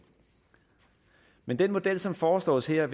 men den model som foreslås her